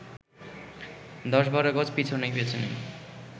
১০/১২ গজ পেছন পেছনই